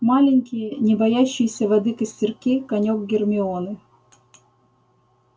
маленькие не боящиеся воды костерки конёк гермионы